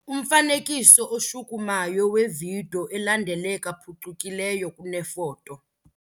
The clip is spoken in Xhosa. Umfanekiso oshukumayo wevidiyo elandeleka phucukileyo kunefoto.